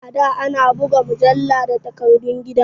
A da ana buga mujalla da takardun gida